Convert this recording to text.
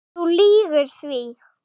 Þú lýgur því.